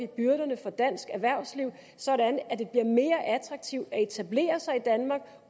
byrderne for dansk erhvervsliv sådan at det bliver mere attraktivt at etablere sig i danmark